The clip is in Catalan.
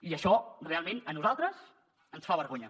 i això realment a nosaltres ens fa vergonya